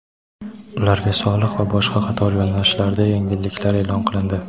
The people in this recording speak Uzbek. ularga soliq va boshqa qator yo‘nalishlarda yengilliklar e’lon qilindi.